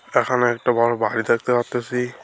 এখানে একটা বড় বাহড়ি দেখতে পারতাছি।